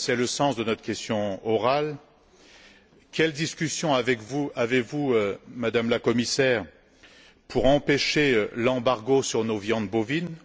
C'est le sens de notre question orale. Quelles discussions avez vous, Madame la Commissaire, pour empêcher l'embargo sur nos viandes bovines?